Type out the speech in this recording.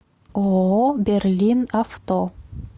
ооо берлин авто